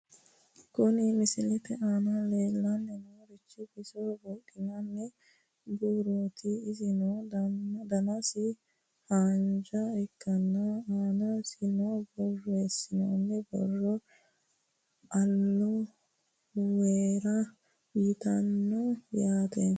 Kuni misilete aana leellanni noorichi bisoho buudhinanni buurooti , isino danasi haanja ikkanna aanasino borreessinoonni boro aloe weera yitanno yaate.